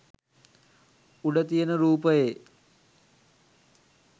උඩ තියන රූපයේ